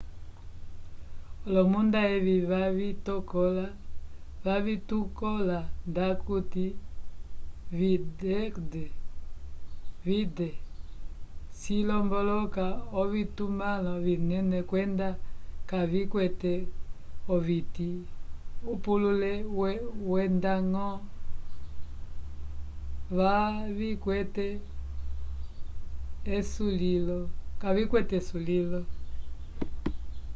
olomunda evi vavitukola ndakuti 'vidde' cilomboloka ovitumãlo vinene kwenda kavikwete oviti upulule wendañgo kavikwete esulilo